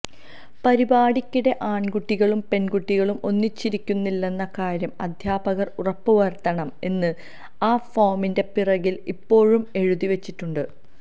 പരിപാടിക്കിടെ ആണ്കുട്ടികളും പെണ്കുട്ടികളും ഒന്നിച്ചിരിക്കുന്നില്ലെന്ന കാര്യം അധ്യാപകര് ഉറപ്പ് വരുത്തണം എന്ന് ആ ഫോമിന്റെ പിറകില് ഇപ്പോഴും എഴുതി വച്ചിട്ടുണ്ട്